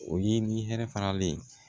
O ye ni hɛrɛ faralen ye